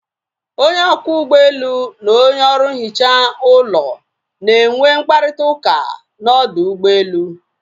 Onye ọkwọ ụgbọelu na onye ọrụ nhicha ụlọ na enwe mkparịta ụka na ọdụ ụgbọelu